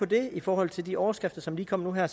det i forhold til de overskrifter som lige kom nu her